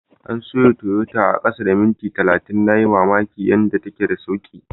An soya Tayotar a kasa da minti talatin, na yi mamakin yanda take da sauki.